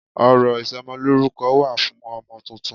Ọ̀rọ̀ ìsọmọlórúko wà fún ọmọ titun